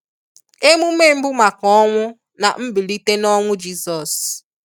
Emume mbụ maka ọnwụ na mbilite n'ọnwụ Jisọs